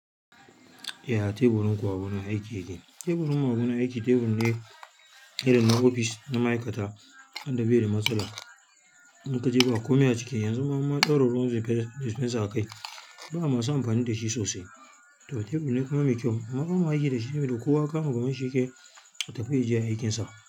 Eh a teburin gwamna aiki yake. Teburin gwamna aiki, tebur ne na ofis na ma'aikata. Tanda bai da matsala, in ka je ba komai a ciki. Yanzu ma mun daur ruwan dispenser a kai. Ba masu amfani da shi sosai. To tebur ne kuma mai kyau. Bama ma aiki da shi, kowa kama gaban shi yake ya tafi yaje yayi aikinsa.